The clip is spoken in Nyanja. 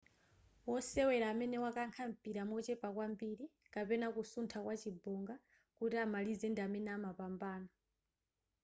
wosewera amene wakankha mpira mochepa kwambiri kapena kusuntha kwa chibonga kuti amalize ndi amene amapambana